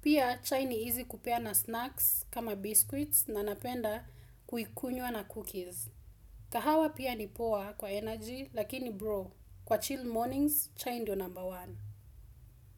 Pia chai ni easy kupea na snacks kama biscuits na napenda kuikunywa na cookies. Kahawa pia ni poor kwa energy lakini bro. Kwa chill mornings, chai ndio namba one.